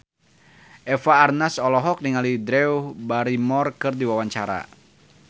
Eva Arnaz olohok ningali Drew Barrymore keur diwawancara